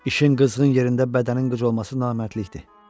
İşin qızğın yerində bədənin qıc olması namərdlikdir.